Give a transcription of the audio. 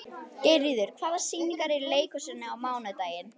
Geirríður, hvaða sýningar eru í leikhúsinu á mánudaginn?